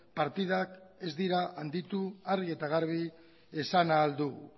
partidak ez direla handitu argi eta garbi esan ahal dut